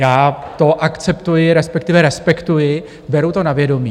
Já to akceptuji, respektive respektuji, beru to na vědomí.